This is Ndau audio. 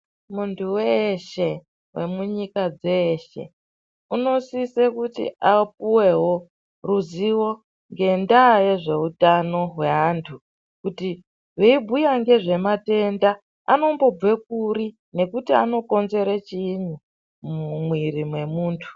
Muntu weshe wemunyika dzeshe unosise upuwewo ruzivo yendaa yezvehutano hwe antu kuti weibhuya ngezvematenda anobve kuri ngekuti anokonzere chiinyi muviri memuntu.